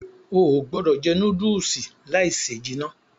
Óò gbọdọ jẹ núdùùsì láì se jìnà.